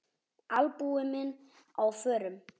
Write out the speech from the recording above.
Albúmin á förum.